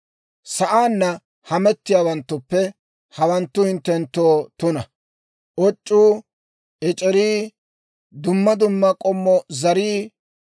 « ‹Sa'aanna hamettiyaawaanttuppe hawanttu hinttenttoo tuna: oc'c'uu, ec'erii, dumma dumma k'ommo zarii,